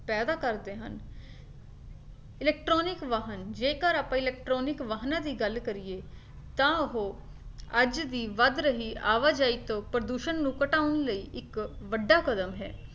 ਪੈਦਾ ਕਰਦੇ ਹਨ electronic ਵਾਹਨ ਜੇਕਰ ਆਪਣੇ electronic ਵਾਹਨਾਂ ਦੀ ਗੱਲ ਕਰੀਏ ਤਾ ਉਹ ਅੱਜ ਦੀ ਵੱਧ ਰਹੀ ਆਵਾਜਾਈ ਤੋਂ ਪ੍ਰਦੂਸ਼ਣ ਨੂੰ ਘਟਾਉਣ ਲਈ ਇੱਕ ਵੱਡਾ ਕਦਮ ਹੈ